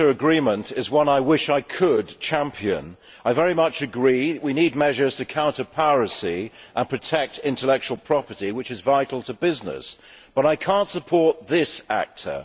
Mr President, the ACTA Agreement is one I wish I could champion. I very much agree we need measures to counter piracy and protect intellectual property, which is vital to business, but I cannot support this ACTA.